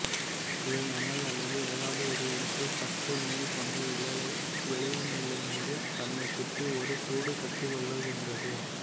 இவை மணல் அல்லது எதாவது ஒரு இடத்தில் பட்டுநூல் போன்ற இழையை வெளியுமிழ்ந்து தன்னைச்சுற்றி ஒரு கூடு கட்டிக்கொள்ளுகின்றது